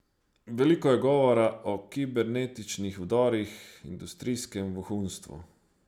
Veliko je govora o kibernetičnih vdorih, industrijskem vohunstvu.